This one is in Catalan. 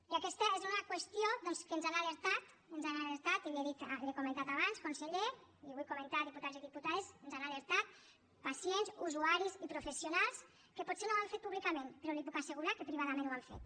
i aquesta és una qüestió doncs que ens n’han alertat ens n’han alertat i l’hi he dit l’hi he comentat abans conseller i ho vull comentar diputats i diputades pacients usuaris i professionals que potser no ho han fet públicament però li puc assegurar que privadament ho han fet